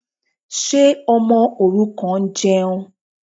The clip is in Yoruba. Ṣé ọmọ òrukàn ń jẹun?